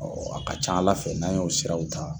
A ka ca Ala fɛ n'an y'o siraw ta